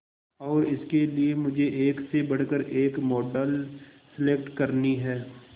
और इसके लिए मुझे एक से बढ़कर एक मॉडल सेलेक्ट करनी है